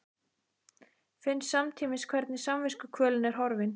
Finn samtímis hvernig samviskukvölin er horfin.